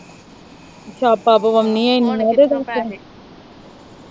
ਛਾਪਾ ਪਵਾਓਨੀ ਆ ਇਨੇ ਦੇ ਤਾ ਪੈਸੇ